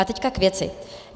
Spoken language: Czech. A teď k věci.